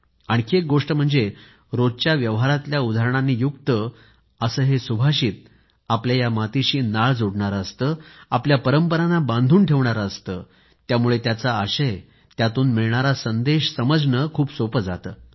आणखी एक गोष्ट म्हणजे रोजच्या व्यवहारातल्या उदाहरणांनी युक्त असे हे सुभाषित आपल्या या मातीशी नाळ जोडणारं असतं आपल्या परंपरांना बांधून ठेवणारं असतं त्यामुळं त्याचा आशय त्यातून मिळणारा संदेश समजणं खूप सोपं जातं